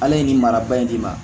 Ala ye nin maraba in d'i ma